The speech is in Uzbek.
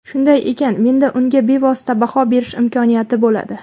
Shunday ekan menda unga bevosita baho berish imkoniyati bo‘ladi.